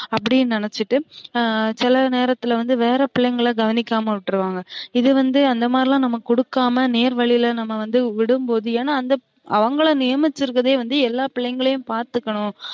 அப்டினு நினைச்சுட்டு சில நேரத்துல வந்து வேர பிள்ளைங்கல கவனிக்காம விற்றுவாங்க இது வந்து அந்த மாரிலாம் நம்ம குடுக்காம நேர்வழில நம்ம விடும்போது ஏன்னா அந்த அவுங்கல நேமிச்சு இருக்குறதே வந்து எல்ல பிள்ளைங்களையும் பாத்துகனும்